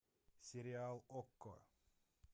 сериал окко